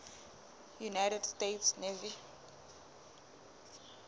united states navy